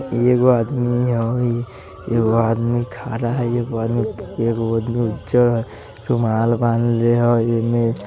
एगो आदमी हई एगो आदमी खडा हई एगो आदमी एगो आदमी उजर रुमाल बांधेले हई एने --